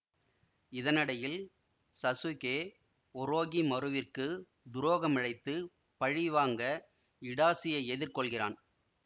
இதனிடையில் Sasuke ஒரோகிமருவிற்கு துரோகமிழைத்துப் பழி வாங்க இடாசியை எதிர் கொள்கிறான்